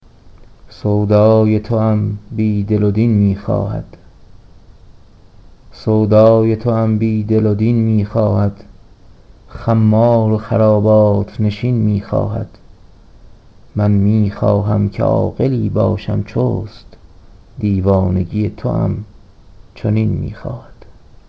سودای توام بیدل و دین میخواهد خمار و خرابات نشین میخواهد من میخواهم که عاقلی باشم چست دیوانگی توام چنین میخواهد